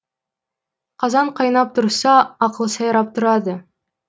қазан қайнап тұрса ақыл сайрап тұрады